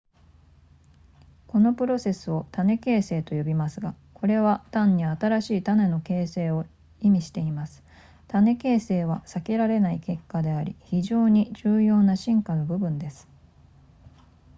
このプロセスを種形成と呼びますがこれは単に新しい種の形成を意味しています種形成は避けられない結果であり非常に重要な進化の部分です